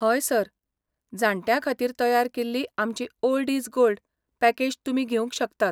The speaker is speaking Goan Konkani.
हय सर. जाण्ट्यां खातीर तयार केल्ली आमची 'ओल्ड इज गोल्ड' पॅकेज तुमी घेवंक शकतात.